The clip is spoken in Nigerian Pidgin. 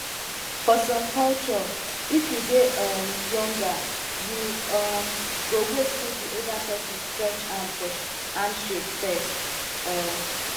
for some culture if you dey um younger you um go wait make di older person stretch hand for handshake first um